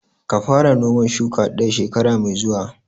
Ka fara noman shuka ɗaya shekara mai zuwa!